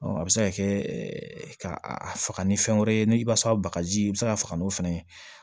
a bɛ se ka kɛ ka a faga ni fɛn wɛrɛ ye ni i b'a sɔrɔ bagaji i be se ka faga n'o fɛnɛ ye